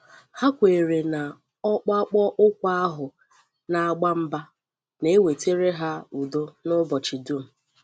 Hà kwèrè na ọ́kpàkpọ̀ ụkwụ ahụ na-agbà mbà, na-ewetara ha ùdò n’ụbọchị dum.